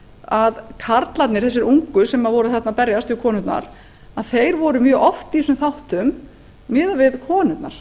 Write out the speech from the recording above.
að karlarnir þessi ungu sem voru þarna að berjast við konurnar þeir voru mjög oft í þessum þáttum miðað við konurnar